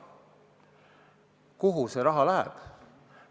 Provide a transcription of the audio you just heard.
Kuhu see raha läheb?